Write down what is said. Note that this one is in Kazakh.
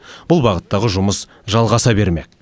бұл бағыттағы жұмыс жалғаса бермек